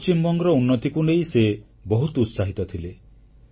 ପଶ୍ଚିମବଙ୍ଗର ଉନ୍ନତିକୁ ନେଇ ସେ ବହୁତ ଉତ୍ସାହିତ ଥିଲେ